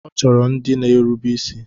Ọ chọrọ ndị na-erube isi.